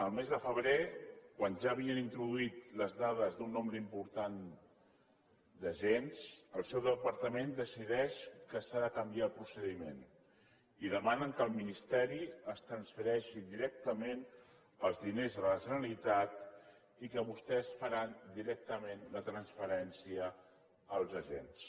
el mes de febrer quan ja havien introduït les dades d’un nombre important d’agents el seu departament decideix que s’ha de canviar el procediment i demanen que el ministeri transfereixi directament els diners a la generalitat i que vostès faran directament la transferència als agents